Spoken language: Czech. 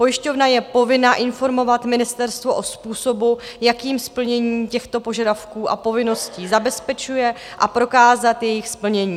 Pojišťovna je povinna informovat ministerstvo o způsobu, jakým splnění těchto požadavků a povinností zabezpečuje, a prokázat jejich splnění.